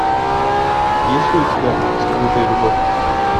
есть ли у тебя скрытая любовь